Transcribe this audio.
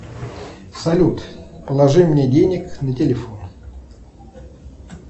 салют положи мне денег на телефон